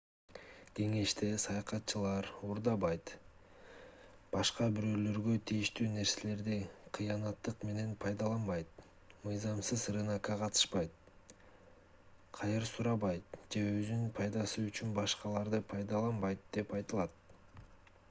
кеңеште саякатчылар уурдабайт башка бирөөлөргө тийиштүү нерселерди кыянаттык менен пайдаланбайт мыйзамсыз рынокко катышпайт кайыр сурабайт же өзүнүн пайдасы үчүн башкаларды пайдаланбайт деп айтылат